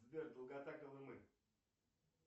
сбер долгота колымы